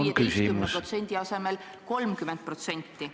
Saaks näiteks 15% asemel 30%.